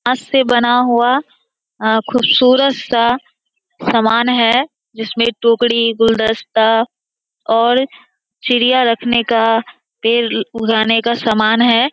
हाथ से बना हुआ खूबसूरत सा समान है जिसमें एक टोकरी गुलदस्ता और चिड़याँ रखने का तेल उगाने समान है।